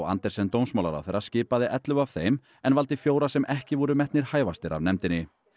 Andersen dómsmálaráðherra skipaði ellefu af þeim en valdi fjóra sem ekki voru metnir hæfastir af nefndinni